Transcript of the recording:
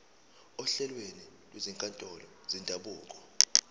ohlelweni lwezinkantolo zendabuko